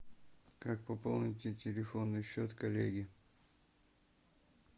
как пополнить телефонный счет коллеги